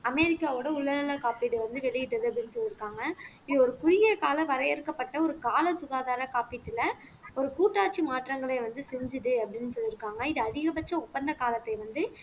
அமெரிக்காவோட உடல் நலக் காப்பீடு வந்து வெளியிட்டது அப்படின்னு சொல்லியிருக்காங்க இது ஒரு குறுகிய கால வரையறுக்கப்பட்ட ஒரு கால சுகாதார காப்பீட்டுல ஒரு கூட்டாட்சி மாற்றங்களை வந்து செஞ்சது அப்படின்னு சொல்லியிருக்காங்க இது அதிகபட்ச ஒப்பந்த காலத்தை வந்து